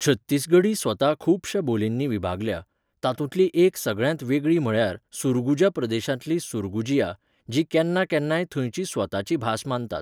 छत्तीसगढी स्वता खुबशा बोलींनी विभागल्या, तातूंतली एक सगळ्यांत वेगळी म्हळ्यार सुरगुजा प्रदेशांतली सुरगुजिया, जी केन्ना केन्नाय थंयची स्वताची भास मानतात.